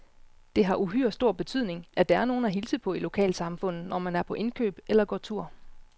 Det har uhyre stor betydning, at der er nogen at hilse på i lokalsamfundet, når man er på indkøb eller går tur.